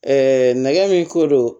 nɛgɛ min ko don